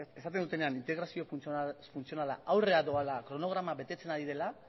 esaten dutenean integrazio funtzionala aurrera doala kronograma betetzen ari dela